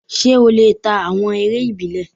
Ṣé ó lè ta awọn eré ìbílẹ̀?